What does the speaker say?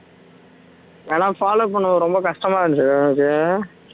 ஆனா follow பண்ணது ரொம்ப கஷ்டமா இருந்துச்சு எனக்கு